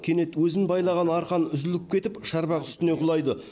кенет өзін байлаған арқан үзіліп кетіп шарбақ үстіне құлайды